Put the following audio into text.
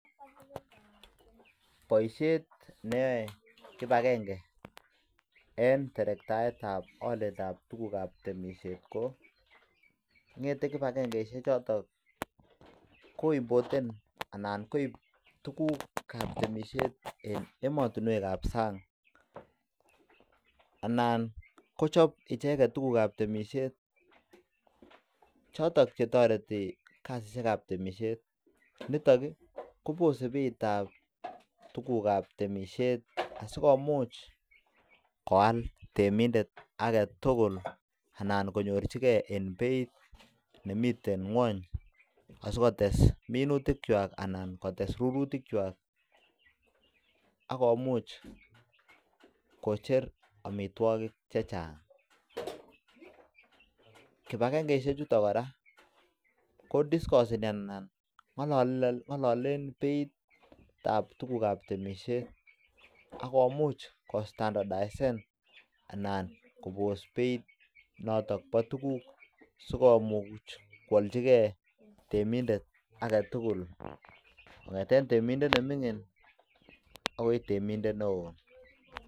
Boisiet neyoe kibagenge en terektaet ab oliet ab tukuk kab temisit ngette kipagengosiek choton koimporten anan koib tuguk ab temisiet kobun ematunwek kap sang anan kochob icheket tuguk kab temisiet choton chetoreti kosit ab temisiet niton kobose beit ab aliet ab tuguk kab temisiet sikomuch koyal temindet agetugul anan konyorjigee en beit nemiten ngwany asikotes minutik kwak anan arurutik kwak akomuche kocher amitwagik chechang kipangengeisiek chuton kora kodiskoseni anan ngololen beit ab tuguk ab temisiet ak komuch ko standardisen anan kobos beit noton bo tuguk asikomuch koaljigee temindet agetugul kongeten temindet nemingin agoi temindet neo